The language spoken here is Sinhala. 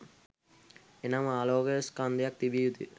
එනම් ආලෝකයේ ස්කන්ධයක් තිබිය යුතුය